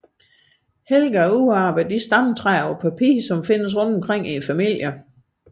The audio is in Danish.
Helga udarbejdede de stamtræer som findes rundt omkring i familierne på papir